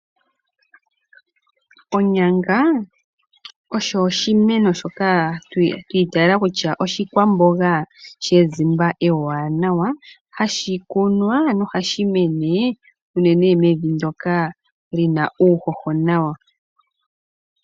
Onyanga osho oshimeno shoka twa iteela kutya oshikwamboga she zimba ewanawa, hashi kunwa nohashi mene unene mevi ndyoka lyina uuhoho nawa.